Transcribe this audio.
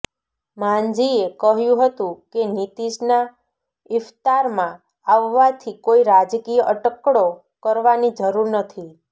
માંઝીએ કહ્યું હતું કે નીતીશના ઇફ્તારમાં આવવાથી કોઈ રાજકીય અટકળો કરવાની જરૂર નથી